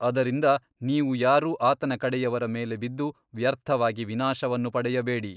ಅದರಿಂದ ನೀವು ಯಾರೂ ಆತನ ಕಡೆಯವರ ಮೇಲೆ ಬಿದ್ದು ವ್ಯರ್ಥವಾಗಿ ವಿನಾಶವನ್ನು ಪಡೆಯಬೇಡಿ.